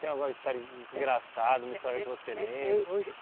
Tem agora história en engraçada, uma história que você lembra? Hoje